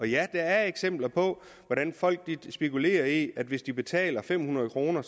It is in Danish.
ja der er eksempler på hvordan folk spekulerer i at hvis de betaler fem hundrede kr